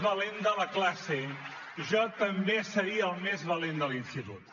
valent de la classe jo també seria el més valent de l’institut